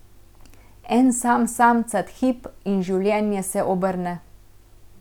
En sam samcat hip, in življenje se obrne.